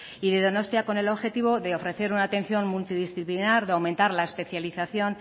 y de donostia con el objetivo de ofrecer una atención multidisciplinar de aumentar la especialización